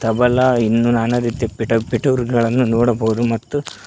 ಮೋಬೆಲಾ ಇನ್ನೂ ನಾನಾ ರೀತಿ ಪಿಟ್ ಪಿಟೂರಿಗಳನ್ನು ನೋಡಬಹುದು ಮತ್ತು--